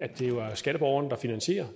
at det er skatteborgerne der finansierer